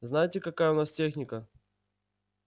знаете какая у нас техника